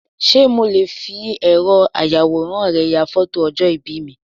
Sé mo le fi ẹ̀rọ ayàwòrán rẹ ya fótò ọjọ̀ ìbí mi